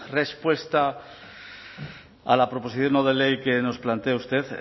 respuesta a la proposición no de ley que nos plantea usted